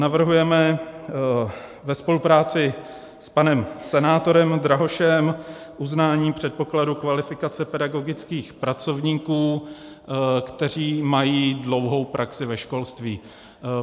Navrhujeme ve spolupráci s panem senátorem Drahošem uznání předpokladu kvalifikace pedagogických pracovníků, kteří mají dlouhou praxi ve školství.